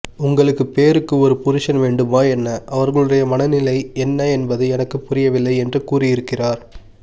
உங்களுக்கு பேருக்கு ஒரு புருஷன் வேண்டுமா என்ன அவர்களுடைய மனநிலை என்ன என்பது எனக்கு புரியவில்லை என்று கூறியிருக்கிறார்